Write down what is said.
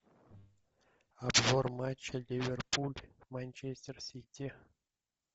обзор матча ливерпуль манчестер сити